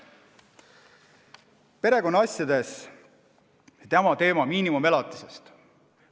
Perekonnaasjades on oluline miinimumelatise teema.